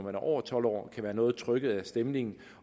er over tolv år kan være noget trykket af stemningen